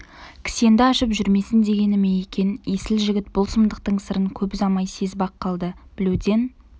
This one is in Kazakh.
кісенді ашып жүрмесін дегені ме екен есіл жігіт бұл сұмдықтың сырын көп ұзамай сезіп-ақ қалды білуден